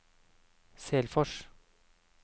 Selfors